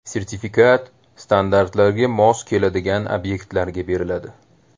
Sertifikat standartlarga mos keladigan obyektlarga beriladi.